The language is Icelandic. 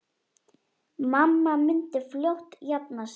Mamma myndi fljótt jafna sig.